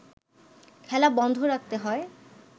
খেলা বন্ধ রাখতে হয়